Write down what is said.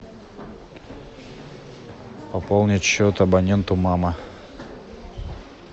пополнить счет абоненту мама